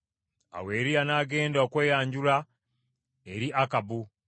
Awo Eriya n’agenda okweyanjula eri Akabu.